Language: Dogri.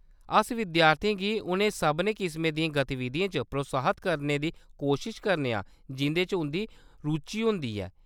अस विद्यार्थियें गी उ'नें सभनें किसमें दियें गतिविधियें च प्रोत्साहत करने दी कोशश करने आं जिं'दे च उंʼदी रुचि होंदी ऐ।